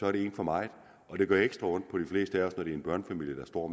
er det én for meget og det gør ekstra ondt på de fleste af os når det er en børnefamilie der står